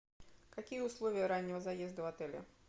какие условия раннего заезда в отеле